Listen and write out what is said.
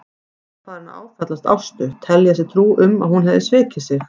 Hann var farinn að áfellast Ástu, telja sér trú um að hún hefði svikið sig.